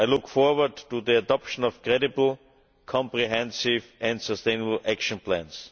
I look forward to the adoption of credible, comprehensive and sustainable action plans.